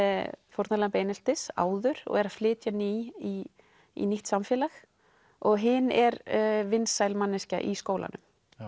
fórnarlamb eineltis áður og er að flytja ný í nýtt samfélag og hin er vinsæl manneskja í skólanum